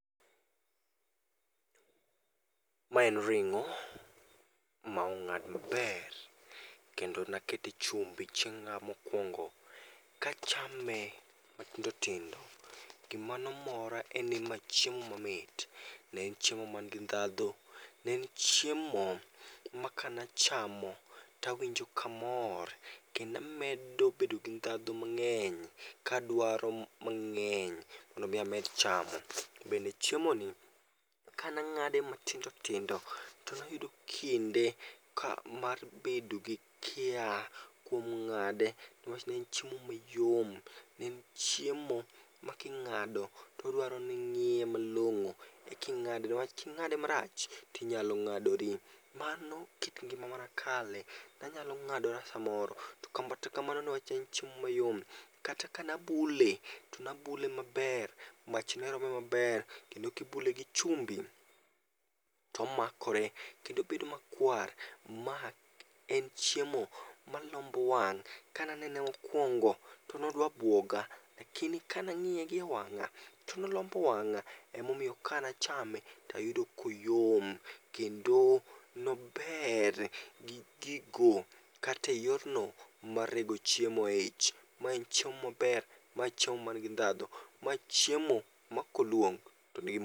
Ma en ringó, ma ongád maber, kendo ne akete chumbi chieng'a mokwongo. Kachame matindo tindo. Gima no mora en ni ma chiemo mamit. Ne en chiemo ma ni gi ndhadhu, ne en chiemo ma kanachamo tawinjo ka amor, kendo amedo bedo gi ndhadhu mangény. Kadwaro mangény mondo omi amed chamo. Bende chiemoni kane angáde matindo tindo to ne ayudo kinde, ka mar bedo gi kia kuom ngáde, ne wach ne en chiemo mayom. Ne en chiemo ma king'ado to odwaro ni ingíye malongó, ekingáde, newach kingáde marach to inyalo ngádori. Mano kit ngima mane akale. Ne anyalo ngádora samoro, to kata kamano newach en chiemo mayom. Kata ka ne abule, to ne abule maber, mach ne rome maber, kendo kibule gi chumbi to omakore kendo obedo makwar. Ma en chiemo malombo wang'. Kane anene mokwongo to ne odwa bwoga, lakini ka ne angíye gi e wangá, to ne olombo wangá. Ema omiyo, ka ne achame, to ayudo ka oyom. Kendo ne ober, gi gigo, kata e yorno mar rego chiemo ei ich. Mae en chiemo maber, ma chiemo ma nigi ndhadhu, ma chiemo ma kolwong to